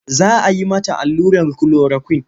Za a yi mata allurar kulorakwin.